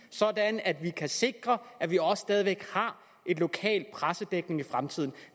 sådan at vi kan sikre at vi også stadig væk har en lokal pressedækning i fremtiden